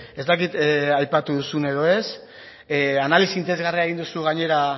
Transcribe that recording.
ez dakit aipatu duzun edo ez analisi interesgarria egin duzu gainera